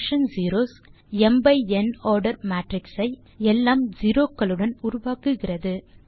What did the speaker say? function zeros ம் by n order matrix ஐ எல்லாம் செரோ க்களுடன் உருவாக்குகிறது